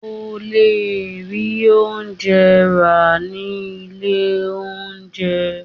O le rí oúnjẹ rà ní ilé oúnjẹ.